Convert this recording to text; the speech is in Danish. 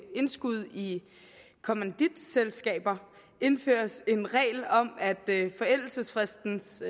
indskud i kommanditselskaber indføres en regel om at forældelsesfristens